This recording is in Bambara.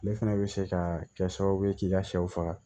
Ne fana bɛ se ka kɛ sababu ye k'i ka sɛw faga